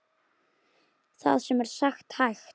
Það er sem sagt hægt.